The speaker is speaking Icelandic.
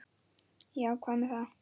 Já, hvað með það?